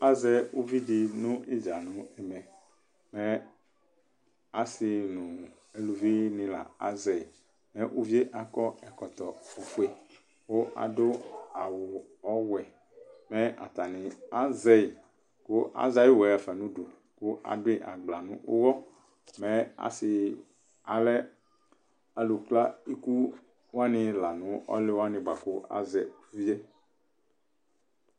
Azɛ ʊvɩ dɩ nʊ ɩdza nʊ ɛmɛ Mɛ ɔsɩ nʊ ʊlʊvɩnɩ lazɛ Ʊvie lakɔ ɛkɔtɔfoe Kʊ ladʊ awʊwɛ Mɛ atanɩ azɛyɩ kʊ azɛ ayʊ ʊwɔɛ ɣafa nʊdʊ Kʊ adʊɩ agblɔ nʊ ʊwɔ Mɛ asɩ alɛ alʊ kla ɩku wanɩ lanʊ alʊ wanɩ bakʊ azɛ ʊvɩe